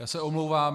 Já se omlouvám.